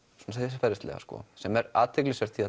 siðferðislega sem er athyglisvert því